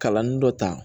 Kalanni dɔ ta